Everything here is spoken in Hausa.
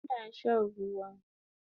Ina shan ruwa